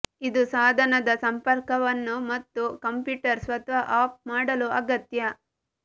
ಇದು ಸಾಧನದ ಸಂಪರ್ಕವನ್ನು ಮತ್ತು ಕಂಪ್ಯೂಟರ್ ಸ್ವತಃ ಆಫ್ ಮಾಡಲು ಅಗತ್ಯ